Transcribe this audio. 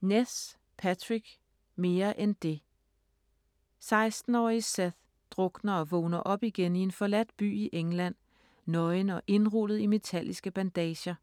Ness, Patrick: Mere end det 16-årige Seth drukner og vågner op igen i en forladt by i England, nøgen og indrullet i metalliske bandager.